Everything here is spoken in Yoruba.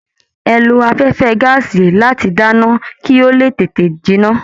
Ẹ̀ ló afẹfẹ gàásí láti dáná kí o le tètè jinná.